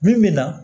Min bi na